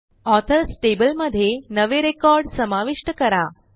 authors table मधे नवे record समाविष्ट करा